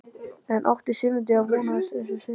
En átti Sigmundína von á þetta stórum sigri?